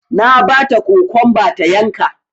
Na bata kokwamba ta yanka